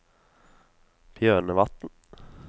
Bjørnevatn